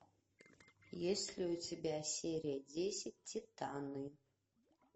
есть ли у тебя серия десять титаны